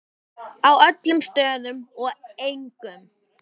Á öllum stöðum og engum.